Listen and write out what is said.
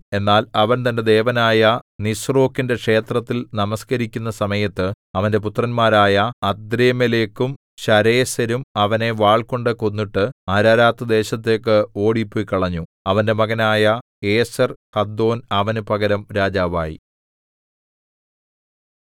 എന്നാൽ അവൻ തന്റെ ദേവനായ നിസ്രോക്കിന്റെ ക്ഷേത്രത്തിൽ നമസ്കരിക്കുന്ന സമയത്ത് അവന്റെ പുത്രന്മാരായ അദ്രമ്മേലെക്കും ശരേസെരും അവനെ വാൾകൊണ്ടു കൊന്നിട്ട് അരാരാത്ത് ദേശത്തേക്ക് ഓടിപ്പൊയ്ക്കളഞ്ഞു അവന്റെ മകനായ ഏസെർഹദ്ദോൻ അവനു പകരം രാജാവായി